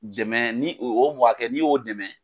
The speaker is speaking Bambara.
Dɛmɛ ni o o mɔgɔ hakɛ n'i y'o dɛmɛ.